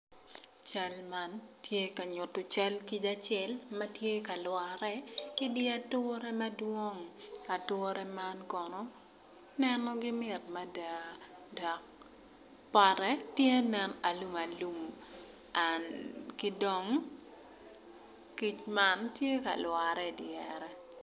Cal man tye ka nyuto nyig kic acel ma tye ka lwore idi ature madwong ature man kono nenogi mit mada dok pote tye nen alumalum ki dong kic man tye ka lwore idyere.